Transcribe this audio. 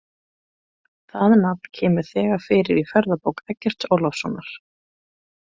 Það nafn kemur þegar fyrir í Ferðabók Eggerts Ólafssonar.